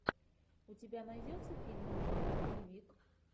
у тебя найдется фильмик жанра боевик